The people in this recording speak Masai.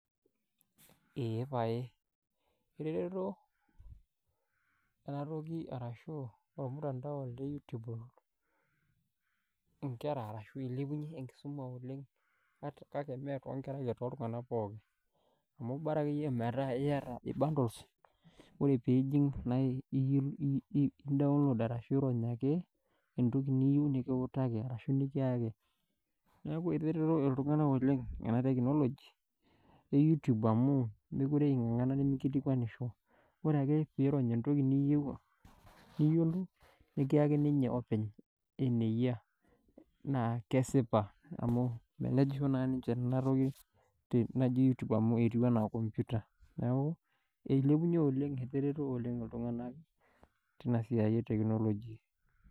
Eh paye etereto enatoki arashu ormutandao le youtube inkera arashu ilepunyie enkisuma oleng kake mee tonkera ake toltung'anak pookin amu bara akeyie metaa iyata bundles ore piijing naa iyi indaonlod arashu irony ake entoki niyieu nikiutaki arashu nikiyaki neku etereto iltung'anak oleng ena tekinoloji e youtube amu mekure ing'ang'ana neminkilikuanisho ore ake piirony entoki niyieu niyiolou nikiyaki ninye openy eneyia naa kesipa amu melejisho naa ninche enatoki naji youtube amu etiu enaa computer neku eilepunyie oleng etereto oleng iltung'anak tina siai e tekinoloji.